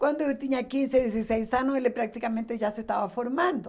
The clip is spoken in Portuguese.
Quando eu tinha quinze, dezesseis anos, ele praticamente já se estava formando.